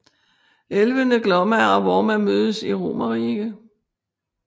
Elvene Glomma og Vorma mødes i Romerike